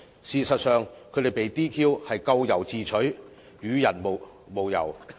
事實上，他們被 "DQ" 咎由自取，與人無尤。